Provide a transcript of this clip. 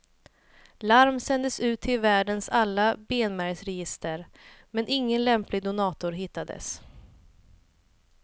Larm sändes ut till världens alla benmärgsregister, men ingen lämplig donator hittades.